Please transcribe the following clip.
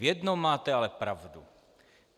V jednom máte ale pravdu.